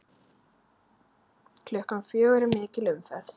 Klukkan fjögur er mikil umferð.